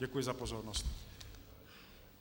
Děkuji za pozornost.